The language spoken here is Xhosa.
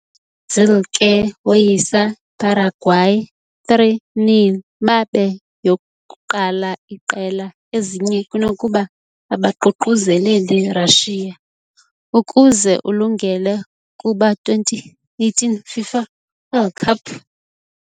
- Brazil ke woyisa Paraguay 3-0 babe yokuqala iqela, ezinye kunokuba abaququzeleli Russia, ukuze ulungele kuba 2018 FIFA World Cup.